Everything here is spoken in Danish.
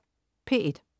P1: